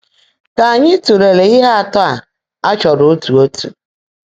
Kà ányị́ tụ́leèlé íhe átọ́ á á chọ́ọ́ró ótú ótú.